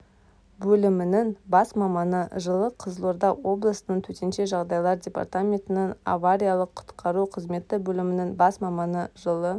бөлімінің бас маманы жылы қызылорда облысының төтенше жағдайлар департаментінің авариялық-құтқару қызметі бөлімінің бас маманы жылы